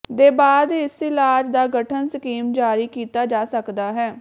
ਦੇ ਬਾਅਦ ਇਸ ਇਲਾਜ ਦਾ ਗਠਨ ਸਕੀਮ ਜਾਰੀ ਕੀਤਾ ਜਾ ਸਕਦਾ ਹੈ